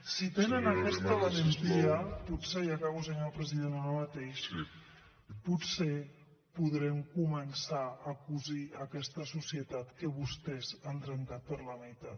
si tenen aquesta valentia potser i acabo president ara mateix potser podrem començar a cosir aquesta societat que vostès han trencat per la meitat